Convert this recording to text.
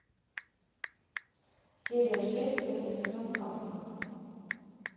серия шесть первый сезон касл